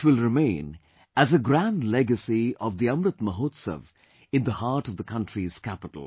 It will remain as a grand legacy of the Amrit Mahotsav in the heart of the country's capital